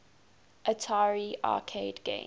atari arcade games